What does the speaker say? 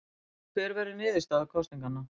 Hver verður niðurstaða kosninganna?